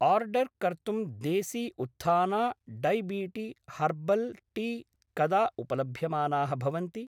Order कर्तुं देसी उत्थाना डैबीटी हर्बल् टी कदा उपलभ्यमानाः भवन्ति?